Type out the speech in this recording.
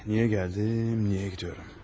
Niyə gəldim, niyə gedirəm?